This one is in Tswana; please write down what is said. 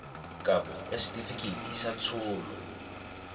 kabo ya setefikeiti sa tsholo